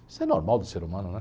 Isso é normal do ser humano, né?